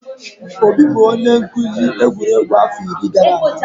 Obi bụ onye nkuzi egwuregwu afọ iri gara aga.